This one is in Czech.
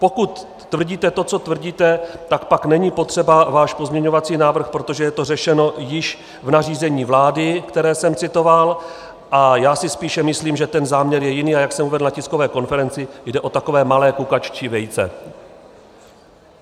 Pokud tvrdíte to, co tvrdíte, tak pak není potřeba váš pozměňovací návrh, protože je to řešeno již v nařízení vlády, které jsem citoval, a já si spíše myslím, že ten záměr je jiný, a jak jsem uvedl na tiskové konferenci, jde o takové malé kukaččí vejce.